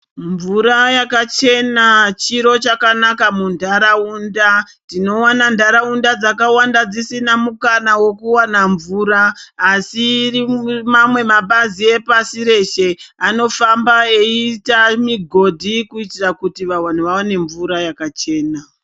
Mvura yakachena chiro chakanaka muntaraunda. Tinoona ntaraunda dzakawanda dzsina mukana wekuwana mvura asi iri mamwe mabazi pasi rose anofamba eiite mugodhi kuitira kuti vantu vawane mvura yakachena.